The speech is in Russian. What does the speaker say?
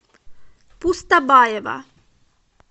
пустобаева